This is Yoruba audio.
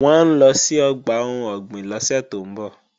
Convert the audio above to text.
Wọ́n ń lọ sí ọgbà ohun ọ̀gbìn lọ́sẹ̀ tó ń bọ̀